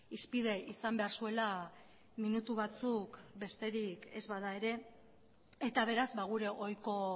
hizpide izan behar zuela minutu batzuk besterik ez bada ere eta beraz gure ohiko